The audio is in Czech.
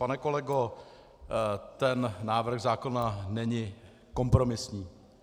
Pane kolego, ten návrh zákona není kompromisní.